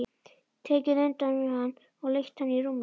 Tekið utan um hann og leitt hann í rúmið.